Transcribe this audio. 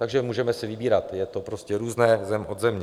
Takže můžeme si vybírat, je to prostě různé zem od země.